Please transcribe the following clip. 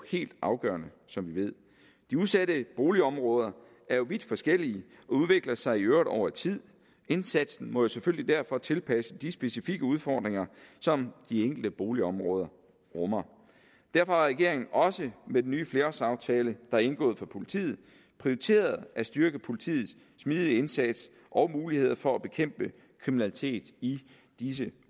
helt afgørende som vi ved de udsatte boligområder er jo vidt forskellige og udvikler sig i øvrigt over tid indsatsen må selvfølgelig derfor tilpasse sig de specifikke udfordringer som de enkelte boligområder rummer derfor har regeringen også med den nye flerårsaftale der er indgået for politiet prioriteret at styrke politiets smidige indsats og muligheder for at bekæmpe kriminalitet i disse